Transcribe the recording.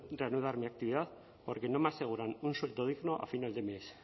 reanudar mi actividad porque no me aseguran un sueldo digno a final de mes